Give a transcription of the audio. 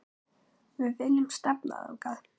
Við viljum stefna þangað.